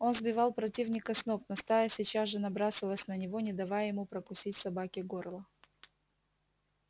он сбивал противника с ног но стая сейчас же набрасывалась на него не давая ему прокусить собаке горло